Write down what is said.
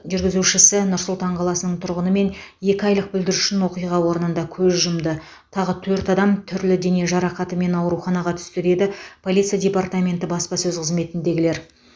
жүргізушісі нұр сұлтан қаласының тұрғыны мен екі айлық бүлдіршін оқиға орнында көз жұмды тағы төрт адам түрлі дене жарақатымен ауруханаға түсті деді полиция департаменті баспасөз қызметіндегілер